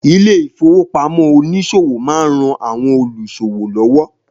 Ilé ìfowópamọ́ oníṣòwò má ń ran àwọn olúṣòwò lọ́wọ́